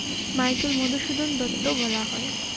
Michael Madhusudan Dutt বলা হয়।